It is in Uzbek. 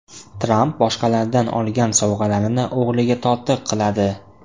Tramp boshqalardan olgan sovg‘alarini o‘g‘liga tortiq qiladi.